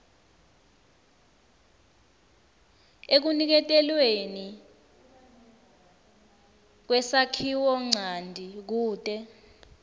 ekuniketelweni kwesakhiwonchanti kute